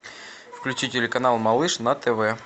включи телеканал малыш на тв